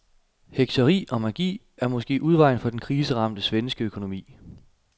Hekseri og magi er måske udvejen for den kriseramte svenske økonomi.